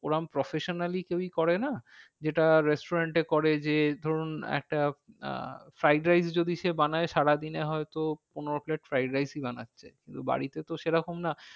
ওরম professionally কেউ করে না। যেটা restaurant এ করে যে ধরুন একটা আহ ফ্রাইড রাইস যদি সে বানায় সারা দিনে হয় তো পনেরো plate ফ্রাইড রাইসই বানাচ্ছে। কিন্তু বাড়িতে তো সে রকম না।